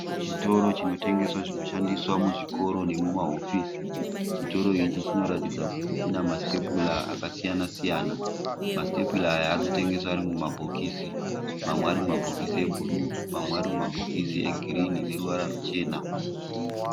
Chitoro chinotengesa zvinoshandiswa kuzvikoro nemumahofisi. Chitoro ichi chinoratidza kuti chimasitepura akasiyana siyana. Masitepura aya arikutengeswa ari mumabhokisi. Mamwe arimumabhokisi ebhuruwu, mamwe arimumabhokisi egirinhi aneruvara rwuchena.